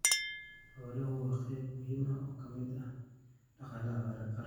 Xooluhu waa qayb muhiim ah oo ka mid ah dhaqaalaha qaranka.